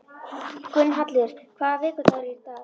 Gunnhallur, hvaða vikudagur er í dag?